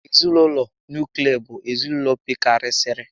Ezinaụlọ nuklia bụ ezinaụlọ pekarịsịrị